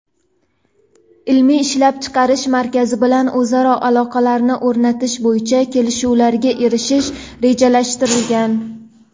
ilmiy-ishlab chiqarish markazi bilan o‘zaro aloqalarni o‘rnatish bo‘yicha kelishuvlarga erishish rejalashtirilgan.